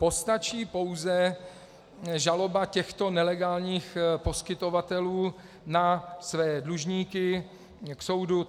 Postačí pouze žaloba těchto nelegálních poskytovatelů na své dlužníky k soudu.